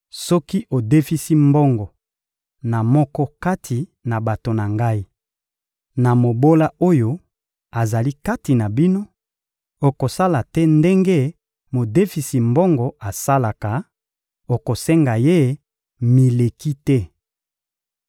Soki odefisi mbongo na moko kati na bato na Ngai, na mobola oyo azali kati na bino, okosala te ndenge modefisi mbongo asalaka; okosenga ye mileki te.